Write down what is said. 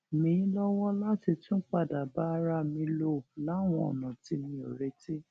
mí lówó láti tún padà bá ara mi lò láwọn ònà tí mi ò retí